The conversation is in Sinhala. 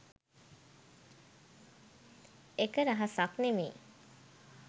එක රහසක් නෙමෙයි.